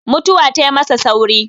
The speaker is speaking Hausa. mutuwa tai masa sauri